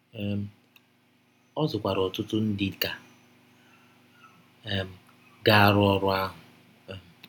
um Ọ zụkwara ọtụtụ ndị ka um ga - arụ ọrụ ahụ um.